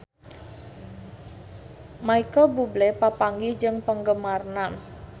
Micheal Bubble papanggih jeung penggemarna